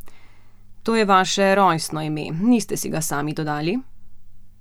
To je vaše rojstno ime, niste si ga sami dodali?